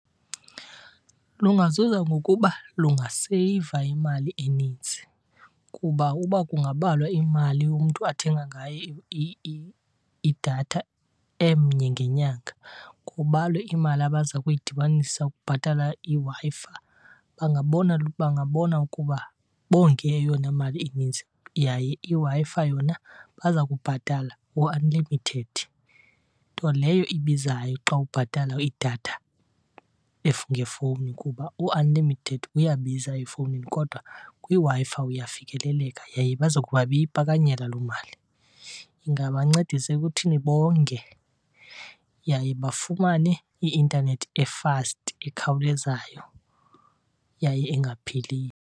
Lungazuza ngokuba lungaseyiva imali eninzi kuba uba kungabalwa imali umntu athenga ngayo idatha emnye ngenyanga kubalwe imali abaza kuyidibanisa ukubhatala iWi-Fi bangabona, bangabona ukuba bonge eyona mali ininzi. Yaye iWi-Fi yona baza kubhatala u-unlimited, nto leyo ibizayo xa ubhatala idatha ngefowuni kuba u-unlimited uyabiza efowunini kodwa kwiWi-Fi uyafikeleleka yaye baza kuba beyipakanyela loo mali. Ingabancedisa ekuthini bonge yaye bafumane i-intanethi efasti, ekhawulezayo, yaye engapheliyo.